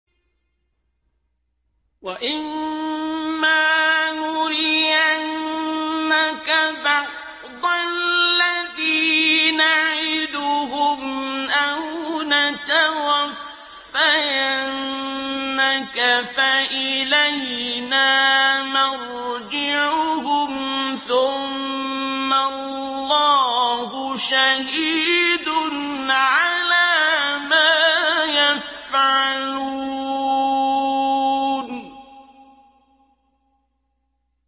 وَإِمَّا نُرِيَنَّكَ بَعْضَ الَّذِي نَعِدُهُمْ أَوْ نَتَوَفَّيَنَّكَ فَإِلَيْنَا مَرْجِعُهُمْ ثُمَّ اللَّهُ شَهِيدٌ عَلَىٰ مَا يَفْعَلُونَ